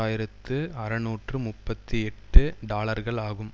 ஆயிரத்து அறுநூற்று முப்பத்தி எட்டு டாலர்கள் ஆகும்